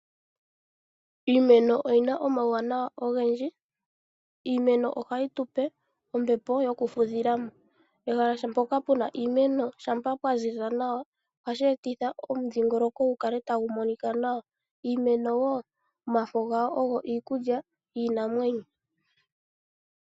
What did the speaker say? Iimeno oyina omauwanawa ogendji. Iimeno ohayi tupe ombepo yoku fudhilamo. Pehala mpoka puna iimeno, shampa pwaziza nawa, ohashi etitha omudhingoloko gukale tagu monika nawa. Iimeno wo, omafo gawo ogo iikulya yiinamwenyo.